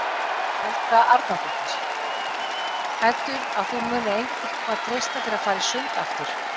Helga Arnardóttir: Heldur að þú munir eitthvað treysta þér að fara í sund aftur?